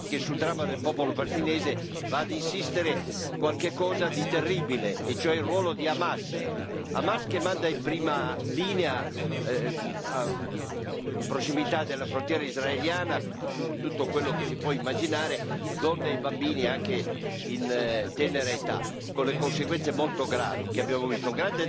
Signor Presidente, onorevoli colleghi, sul dramma del popolo palestinese va ad insistere qualche cosa di terribile, e cioè il ruolo di Hamas. Hamas che manda in prima linea, in prossimità della frontiera israeliana, con tutto quello che si può immaginare, donne e bambini anche in tenera età, con le conseguenze molto gravi che abbiamo visto.